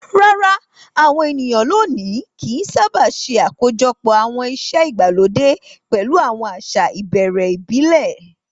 Rárá, àwọn ènìyàn lónìí kì í sábà ṣe àkójọpọ̀ àwọn ìṣe ìgbàlódé pẹ̀lú àwọn àṣà ìbẹ̀rẹ̀ ìbílẹ̀.